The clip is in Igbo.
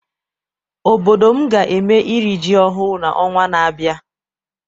Obodo m ga eme iri ji ọhụụ n'ọnwa na-abịa.